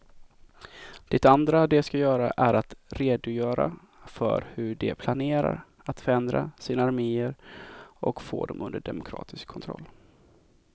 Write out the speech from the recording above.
Det andra de ska göra är att redogöra för hur de planerar att förändra sina arméer och få dem under demokratisk kontroll.